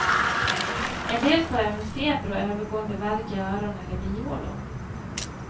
En del får även feber och övergående värk i öron eller bihålor.